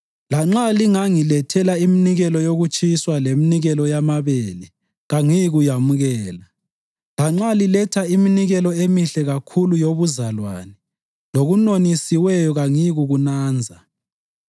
Lanxa lingangilethela iminikelo yokutshiswa leminikelo yamabele kangiyikuyamukela. Lanxa liletha iminikelo emihle kakhulu yobuzalwane, lokunonisiweyo kangiyikuyinanza.